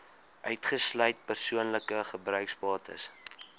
uitgesluit persoonlike gebruiksbates